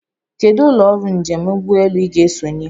Kedụ ụlọ ọrụ njem ụgbọelu Ị ga-esonye?